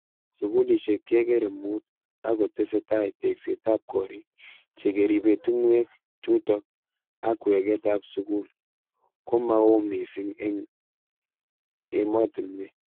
Sukulishek kekere mut ako tesetai tekset ab korik che keribe tungwek chutok ak weket ab sukul ko ma oo mising eng ematunwek.